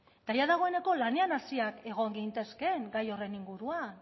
eta dagoeneko lanean hasiak egon gintezkeen gai horren inguruan